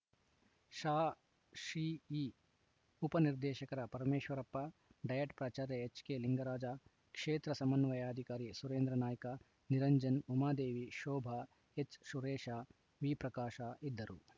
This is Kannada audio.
ಸಾಶಿಇ ಉಪ ನಿರ್ದೇಶಕ ಪರಮೇಶ್ವರಪ್ಪ ಡಯಟ್‌ ಪ್ರಾಚಾರ್ಯ ಎಚ್‌ಕೆಲಿಂಗರಾಜ ಕ್ಷೇತ್ರ ಸಮನ್ವಯಾಧಿಕಾರಿ ಸುರೇಂದ್ರನಾಯ್ಕ ನಿರಂಜನ್‌ ಉಮಾದೇವಿ ಶೋಭಾ ಎಚ್‌ಸುರೇಶ ವಿಪ್ರಕಾಶ ಇದ್ದರು